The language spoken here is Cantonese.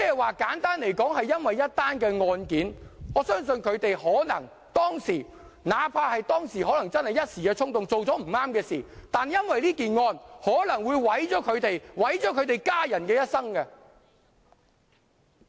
換言之，因為一宗案件——我相信他們當時可能一時衝動，做了不對的事情——但這宗案件可能會毀掉他們和家人的一生。